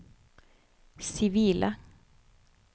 sivile